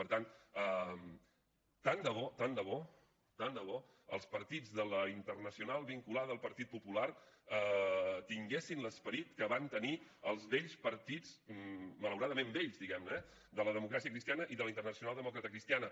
per tant tant de bo tant de bo tant de bo els partits de la internacional vinculada al partit popular tinguessin l’esperit que van tenir els vells partits malauradament vells diguem ne eh de la democràcia cristiana i de la internacional democratacristiana